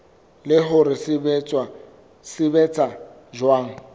le hore se sebetsa jwang